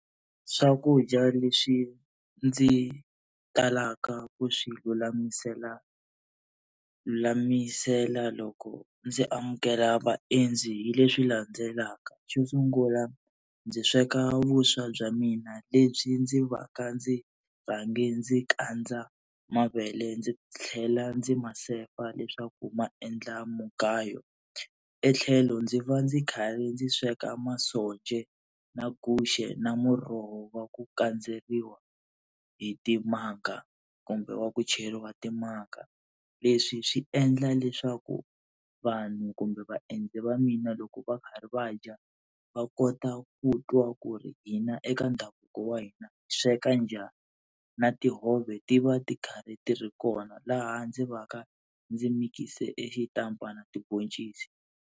Swakudya leswi ndzi talaka ku swi lulamisela lulamisela loko ndzi amukela vaendzi hi leswi landzelaka, xo sungula ndzi sweka vuswa bya mina lebyi ndzi va ka ndzi rhange ndzi kandza mavele ndzi tlhela ndzi ma sefa leswaku ma endla mugayo. Etlhelo ndzi va ndzi kha ri ndzi sweka masonja na guxe na muroho wa ku kandzeriwa hi timanga kumbe wa ku cheriwa timanga. Leswi swi endla leswaku vanhu kumbe vaendzi va mina loko va karhi va dya va kota ku twa ku ri hina eka ndhavuko wa hina hi sweka njhani, na tihove ti va ti karhi ti ri kona laha ndzi va ka ndzi mikise xitampa na tiboncisi.